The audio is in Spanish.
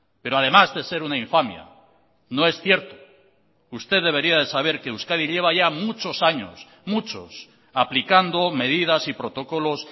pero además de ser una infamia no es cierto usted debería de saber que euskadi lleva ya muchos años muchos aplicando medidas y protocolos